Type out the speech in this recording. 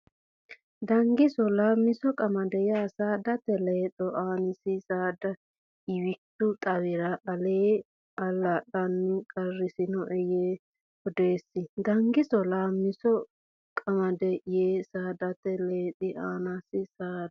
Dangiso Laammiso qamade ya saadate Lexxi annisi saada Ewichu xawira allaa lanni qarrisinoe yee odeessi Dangiso Laammiso qamade ya saadate Lexxi annisi saada.